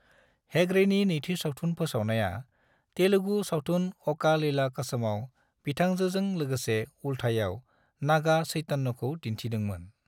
हेगड़ेनि नैथि सावथुन फोसावनाया, तेलुगु सावथुन ओका लैला कोसमाव बिथांजोजों लोगोसे उल्थायाव नागा चैतन्यखौ दिन्थिदोंमोन।